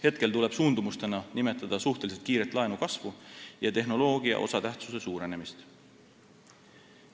Hetkel tuleb suundumustena nimetada suhteliselt kiiret laenukasvu ja tehnoloogia osatähtsuse suurenemist.